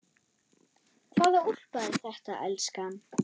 Hvaða úlpa er þetta, elskan?